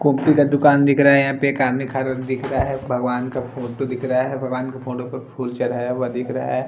कोपती का दुकान दिख रहा हैं यहाँ पे कान निखारन दिख रहा हैं भगवान का फोटो दिख रहा हैं भगवान के फोटो पर फूल चढ़ाया हुआ दिख रहा हैं ।